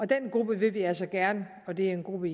den gruppe vil vi altså gerne og det er en gruppe